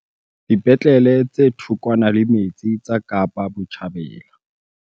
Dipetlele tse thokwana le metse tsa Kapa Botjhabela